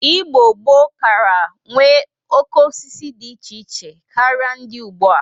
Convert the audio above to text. Igbo gboo kara nwe oke osisi dị iche iche karị ndị ugbu a.